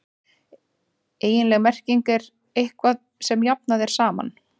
eiginleg merking er „eitthvað sem jafnað er saman“